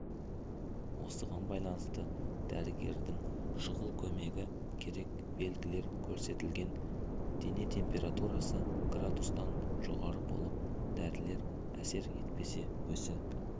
осыған байланысты дәрігердің шұғыл көмегі керек белгілер көрсетілген денетемпературасы градустан жоғары болып дәрілер әсер етпесе есі